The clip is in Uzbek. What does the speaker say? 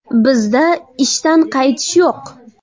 Bizda ishdan qaytish yo‘q.